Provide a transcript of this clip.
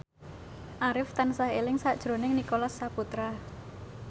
Arif tansah eling sakjroning Nicholas Saputra